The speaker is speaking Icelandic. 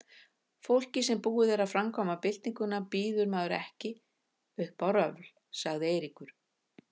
Fólki sem búið er að framkvæma Byltinguna býður maður ekki upp á röfl, sagði Eiríkur.